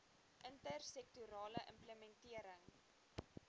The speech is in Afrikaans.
inter sektorale implementering